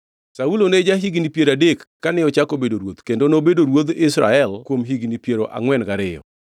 Saulo ne ja-higni piero adek kane ochako bedo ruoth kendo nobedo ruodh Israel kuom higni piero angʼwen gariyo.